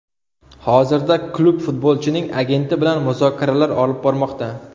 Hozirda klub futbolchining agenti bilan muzokaralar olib bormoqda.